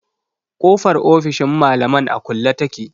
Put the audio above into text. Kofar ofishin malaman a kulle take.